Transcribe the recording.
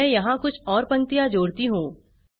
मैं यहाँ कुछ और पंक्तियाँ जोड़ती हूँ